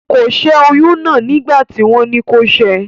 Kò sẹ́ oyún náà nígbà tí wọ́n ní kó sẹ́ ẹ